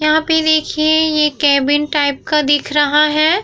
यहाँ पे देखिए यहाँ पे केबिन टाइप का दिख रहा है।